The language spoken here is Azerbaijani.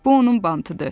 Bu onun bantıdır.